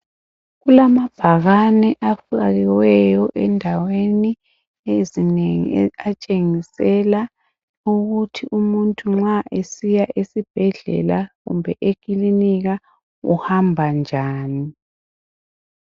Kulamabhakane afakiweyo endaweni ezinengi atshengisela ukuthi umuntu nxa esiya esibhedlela kumbe ekilinika uhamba njani .